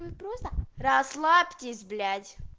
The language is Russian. вы просто расслабьтесь блять